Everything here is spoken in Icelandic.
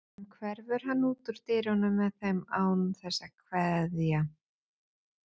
Síðan hverfur hann út úr dyrunum með þeim án þess að kveðja.